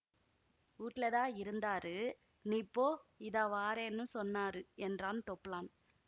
வூட்லதான் இருந்தாரு நீ போ இதாவாரென்னு சொன்னாரு என்றான் தொப்ளான்